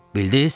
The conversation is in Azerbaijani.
Bildiz?